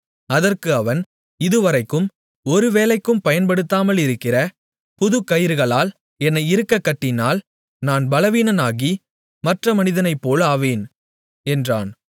அதற்கு அவன் இதுவரைக்கும் ஒரு வேலைக்கும் பயன்படுத்தாமலிருக்கிற புதுக்கயிறுகளால் என்னை இறுகக் கட்டினால் நான் பலவீனனாகி மற்ற மனிதனைப்போல் ஆவேன் என்றான்